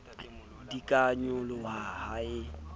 di ka nyoloha ha e